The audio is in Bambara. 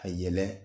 A yɛlɛ